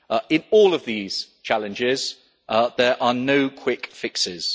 In all of these challenges, there are no quick fixes.